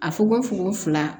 A fuko fongofula